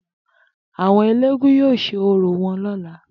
Àwo̩n eléégún yóò s̩e orò wo̩n ló̩la